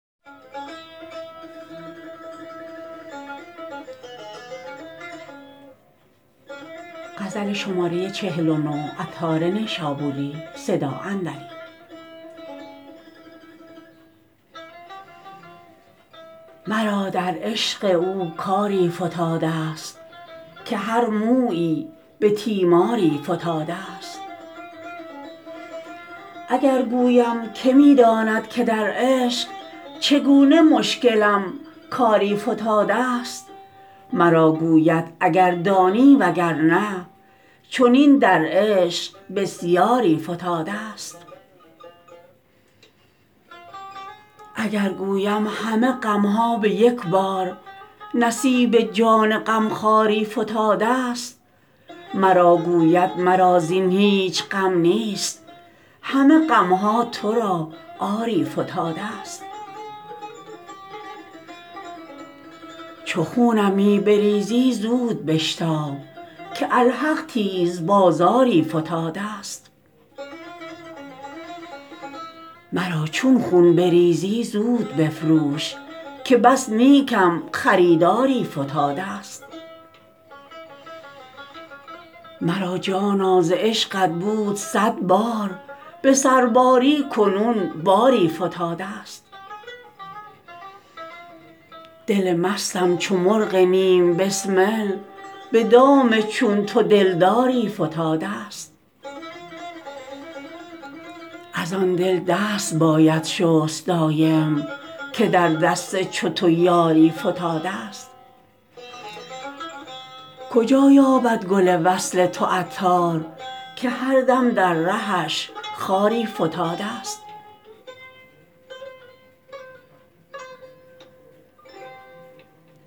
مرا در عشق او کاری فتادست که هر مویی به تیماری فتادست اگر گویم که می داند که در عشق چگونه مشکلم کاری فتادست مرا گوید اگر دانی وگرنه چنین در عشق بسیاری فتادست اگر گویم همه غمها به یک بار نصیب جان غمخواری فتادست مرا گوید مرا زین هیچ غم نیست همه غمها تو را آری فتادست چو خونم می بریزی زود بشتاب که الحق تیز بازاری فتادست مرا چون خون بریزی زود بفروش که بس نیکم خریداری فتادست مرا جانا ز عشقت بود صد بار به سرباری کنون باری فتادست دل مستم چو مرغ نیم بسمل به دام چون تو دلداری فتادست از آن دل دست باید شست دایم که در دست چو تو یاری فتادست کجا یابد گل وصل تو عطار که هر دم در رهش خاری فتادست